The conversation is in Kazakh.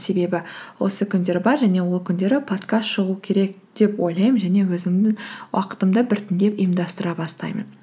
себебі осы күндер бар және ол күндері подкаст шығу керек деп ойлаймын және өзімнің уақытымды біртіндеп ұйымдастыра бастаймын